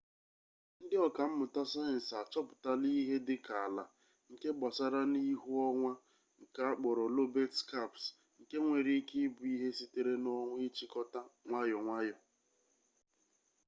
ndị ọka mmụta sayensị achọpụtala ihe dịka ala nke gbasara n'ihu onwa nke akpọrọ lobet skaps nke nwere ike ịbụ ihe sitere n'ọnwa ịchịkọta nwayọ nwayọ